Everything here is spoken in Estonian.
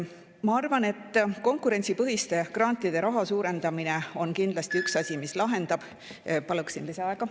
Ma arvan, et konkurentsipõhiste grantide raha suurendamine on kindlasti üks asi, mis lahendab.